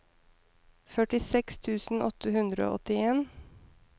førtiseks tusen åtte hundre og åttien